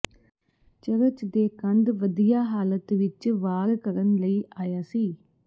church ਦੇ ਕੰਧ ਵਧੀਆ ਹਾਲਤ ਵਿਚ ਵਾਰ ਕਰਨ ਲਈ ਆਇਆ ਸੀ